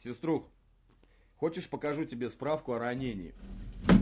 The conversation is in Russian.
сестра хочешь покажу тебе справку о ранении